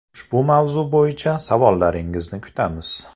Ushbu mavzu bo‘yicha savollaringizni kutamiz.